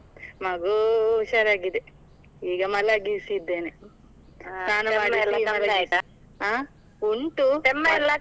ಮಗೂ ಹುಷಾರಾಗಿದೆ, ಈಗ ಮಲಗಿಸಿದ್ದೇನೆ . ಹ ಉಂಟು, .